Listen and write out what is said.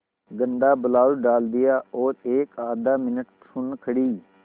गंदा ब्लाउज डाल दिया और एकआध मिनट सुन्न खड़ी